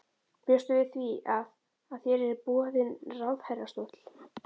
Bjóstu við því að, að þér yrði boðinn ráðherrastóll?